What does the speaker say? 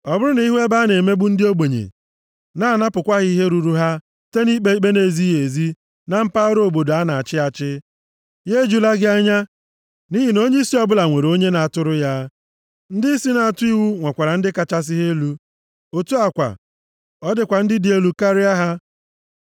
Ọ bụrụ na ị hụ ebe a na-emegbu ndị ogbenye, na-anapụkwa ha ihe ruru ha site nʼikpe ikpe na-ezighị ezi na mpaghara obodo a na-achị achị, ya ejula gị anya, nʼihi na onyeisi ọbụla nwere onye na-atụrụ ya. Ndịisi na-atụ iwu nwekwara ndị kachasị ha elu. Otu a kwa, ọ dịkwa ndị dị elu karịa ha.